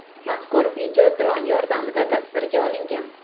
Mazkur video dron yordamida tasvirga olingan.